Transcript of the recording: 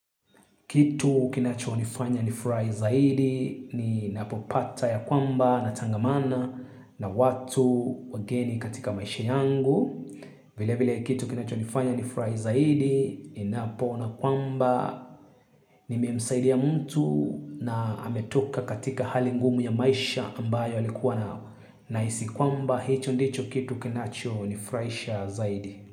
Kitu kinachonifanya nifurahi zaidi ni ninapopata ya kwamba natangamana na watu wageni katika maisha yangu. Vile vile kitu kinachonifanya nifurahi zaidi ni ninapoona kwamba nimemsaidia mtu na ametoka katika hali ngumu ya maisha ambayo alikuwa nao nahisi kwamba hicho ndicho kitu kinachonifurahisha zaidi.